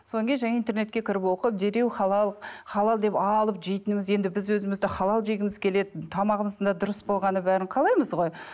содан кейін жаңағы интернетке кіріп оқып дереу халал халал деп алып жейтініміз енді біз өзіміз де халал жегіміз келеді тамағымыздың да дұрыс болғанын бәрін қалаймыз ғой